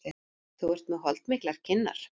Þú ert með holdmiklar kinnar.